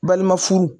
Balima furu